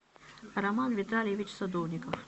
роман витальевич садовников